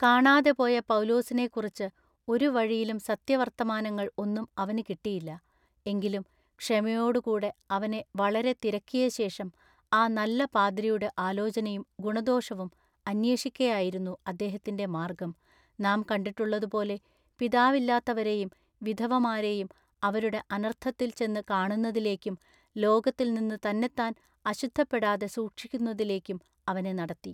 കാണാതെ പോയ പൗലൂസിനെക്കുറിച്ചു ഒരു വഴിയിലും സത്യവർത്തമാനങ്ങൾ ഒന്നും അവനു കിട്ടിയില്ല എങ്കിലും ക്ഷമയോടു കൂടെ അവനെ വളരെ തിരക്കിയശേഷം ആ നല്ല പാദ്രിയുടെ ആലോചനയും ഗുണദോഷവും അന്വേഷിക്കയായിരുന്നു അദ്ദേഹത്തിൻ്റെ മാർഗ്ഗം നാം കണ്ടിട്ടുള്ളതുപോലെ പിതാവില്ലാത്തവരെയും വിധവമാരെയും അവരുടെ അനർത്ഥത്തിൽ ചെന്നു കാണുന്നതിലേക്കും ലോകത്തിൽനിന്നു തന്നെത്താൻ അശുദ്ധപ്പെടാതെ സൂക്ഷിക്കുന്നതിലേക്കും" അവനെ നടത്തി.